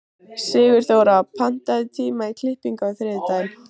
Sigurþóra, pantaðu tíma í klippingu á þriðjudaginn.